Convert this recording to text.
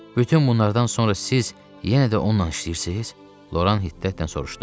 Bütün bunlardan sonra siz yenə də onunla işləyirsiz, Loran hiddətlə soruşdu.